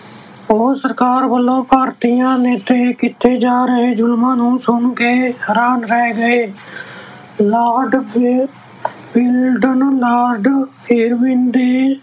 ਉਹ ਸਰਕਾਰ ਵੱਲੋਂ ਭਾਰਤੀਆਂ ਤੇ ਕੀਤੇ ਜਾ ਰਹੇ ਜੁਲਮਾਂ ਨੂੰ ਸੁਣ ਕੇ ਹੈਰਾਨ ਰਹਿ ਗਏ Lord Willingdon Lord Irvin